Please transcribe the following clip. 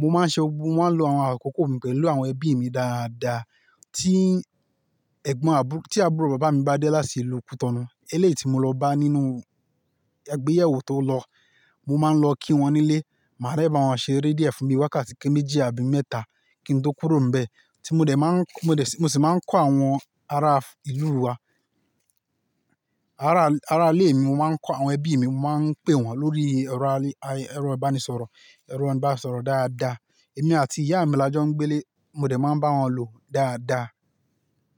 mo máa ń ṣe ogbón, mo máa ń lo àwọn àkókò mi pẹ̀lú àwọn ẹbí mi dáadáa. Tí àbúrò bàbá mi bá dé láti ilu kútọ̀nu, eléèti mo lọ bá a nínú àgbéyẹ̀wò tó lọ. Mo máa ń lọ kí wọn nílé, màá dẹ bá wọn ṣ'eré díẹ̀ fún bi wákàtí méjì àbí mẹ́ta kí n tó kúrò níbẹ̀. Tí mo dẹ̀ máa ń kọ-- mo sì máa ń kọ àwọn ará ìlú wa, ará, ará ilé mi, mo máa ń kọ àwọn ẹbí mi, mo máa ń pè wọ́n lórí ẹ̀rọ abánisọ̀rọ̀, ẹ̀rọ ìbánisọ̀rọ̀ dáadáa. Èmi àti ìyá mi la jọ ń gbé ilé, mo dẹ̀ máa ń bá wọn lò dáadáa.